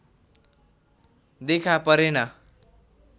देखा परेन